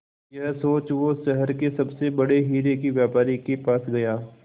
यह सोच वो शहर के सबसे बड़े हीरे के व्यापारी के पास गया